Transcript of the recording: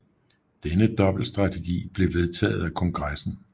Denne dobbeltstrategi blev vedtaget af kongressen